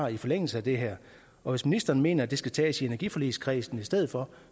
i forlængelse af det her og hvis ministeren mener at det skal tages i energiforligskredsen i stedet for